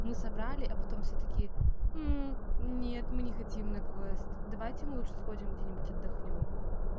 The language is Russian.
мы собрали а потом всё-таки нет мм не хотим на квест давайте мы лучше сходим где-нибудь отдохнём